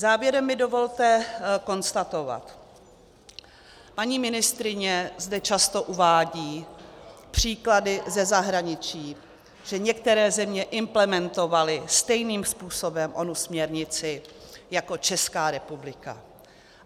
Závěrem mi dovolte konstatovat, paní ministryně zde často uvádí příklady ze zahraničí, že některé země implementovaly stejným způsobem onu směrnici jako Česká republika.